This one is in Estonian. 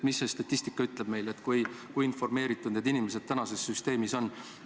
Mida statistika ütleb meile, kui informeeritud inimesed tänasest süsteemist on?